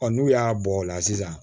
Ɔ n'u y'a bɔ o la sisan